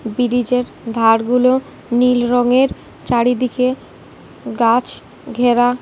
বিরিজের ধার গুলো নীল রঙের চারিদিকে গাছ ঘেরা।